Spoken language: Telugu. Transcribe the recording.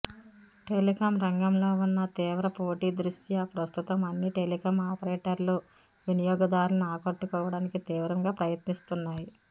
టెలికాం రంగంలో ఉన్న తీవ్ర పోటీ దృష్ట్యా ప్రస్తుతం అన్ని టెలికాం ఆపరేటర్లూ వినియోగదారులను ఆకట్టుకోవడానికి తీవ్రంగా ప్రయత్నిస్తున్నాయి